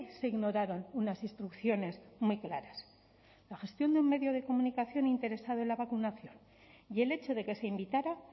se ignoraron unas instrucciones muy claras la gestión de un medio de comunicación interesado en la vacunación y el hecho de que se invitara